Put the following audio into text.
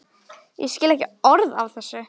Ég skil ekki orð af þessu.